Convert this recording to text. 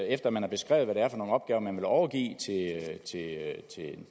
efter man har beskrevet hvad det er for nogle opgaver man vil overgive